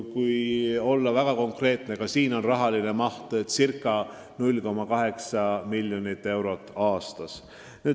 Kui olla väga konkreetne, siin selleks eraldatakse ca 0,8 miljonit eurot aastas.